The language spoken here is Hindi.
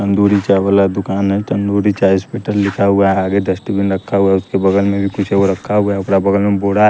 तंदूरी चाय वाला दुकान है तंदूरी चाय स्पेटल लिखा हुआ है आगे डस्टबिन रखा हुआ है उसके बगल में भी कुछ और रखा हुआ है उकरा बगल में बूढ़ा --